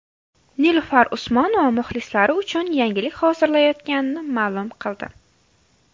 Nilufar Usmonova muxlislari uchun yangilik hozirlayotganini ma’lum qildi.